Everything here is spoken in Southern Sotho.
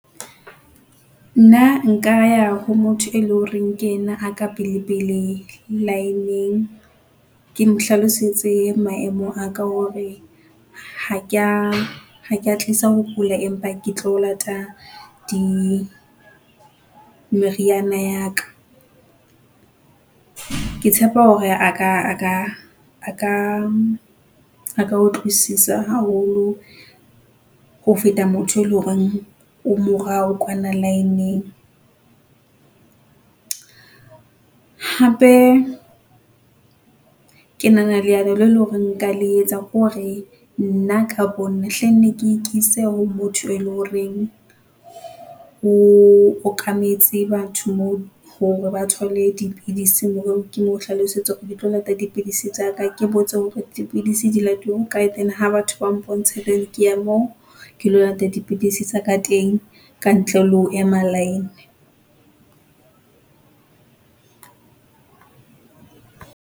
Nna nka ya ho motho e leng horeng ke yena a ka pele pele line-ng. Ke mo hlalosetse maemo a ka hore ha ke a, ha ke a tlisa ho kula, empa ke tlo lata di, meriana ya ka. Ke tshepa hore a ka a ka, a ka utlwisisa haholo ho feta motho e leng horeng o morao kwana line-ng. Hape ke nahana leano le leng hore nka le etsa ke hore nna ka bo nna hlenne ke ikise ho motho e leng horeng o okametse batho moo hore ba thole dipidisi hore ke mo hlalosetse hore ke tlo lata dipidisi tsaka. Ke botse hore dipidisi di latuwa ho kae then ha batho ba mpontshe ke ya moo ke lo lata dipidisi tsa ka teng, ka ntle le ho ema line.